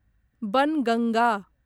Banganga